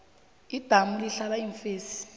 idamu lihlala iimfesi